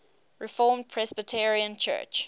reformed presbyterian church